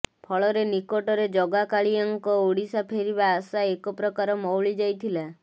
ଫଳରେ ନିକଟରେ ଜଗା କାଳିଆଙ୍କ ଓଡିଶା ଫେରିବା ଆଶା ଏକପ୍ରକାର ମଉଳି ଯାଇଥିଲା